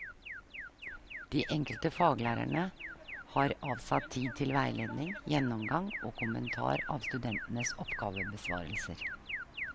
De enkelte faglærerne har avsatt tid til veiledning, gjennomgang og kommentar av studentenes oppgavebesvarelser.